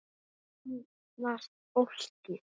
Kynnast fólki.